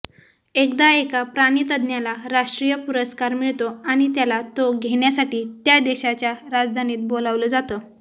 एकदा एका प्राणितज्ज्ञाला राष्ट्रीय पुरस्कार मिळतो आणि त्याला तो घेण्यासाठी त्या देशाच्या राजधानीत बोलावलं जातं